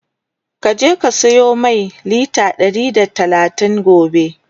ka je ka siyo Mai litre Ɗari da talatin gobe!